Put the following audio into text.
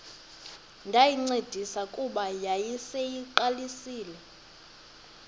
ndayincedisa kuba yayiseyiqalisile